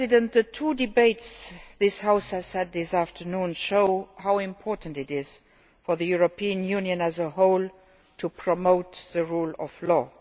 The two debates this House has had this afternoon show how important it is for the European Union as a whole to promote the rule of law.